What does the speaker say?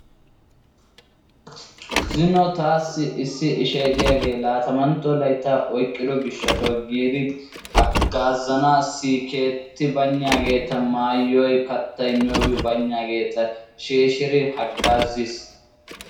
Zino taassi issi ishshay diyaage lattamantto laytta oyqqido gishshaw giidi hagaazanassi keetti baynnageeta, maayoy. kattay miyiyyoobi baynnageeti shiishshidi hagaaziis.